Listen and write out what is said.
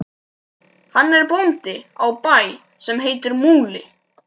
Hann er bóndi á bæ sem heitir Múli.